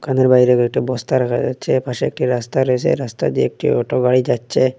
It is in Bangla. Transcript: দোকানের বাইরে কয়েকটি বস্তা রাখা যাচ্ছে পাশে একটি রাস্তা রয়েসে রাস্তা দিয়ে একটি অটো গাড়ি যাচ্ছে।